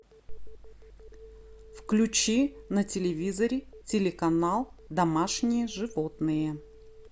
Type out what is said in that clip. включи на телевизоре телеканал домашние животные